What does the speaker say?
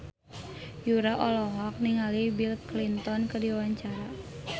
Yura olohok ningali Bill Clinton keur diwawancara